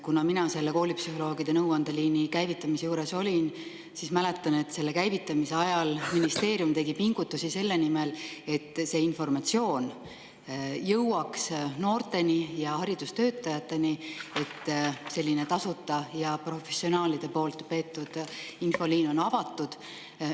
Kuna mina selle koolipsühholoogide nõuandeliini käivitamise juures olin, siis mäletan, et selle käivitamise ajal tegi ministeerium pingutusi selle nimel, et noorteni ja haridustöötajateni jõuaks informatsioon, et selline tasuta ja professionaalide peetav infoliin on avatud.